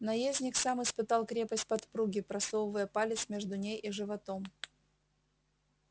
наездник сам испытал крепость подпруги просовывая палец между ней и животом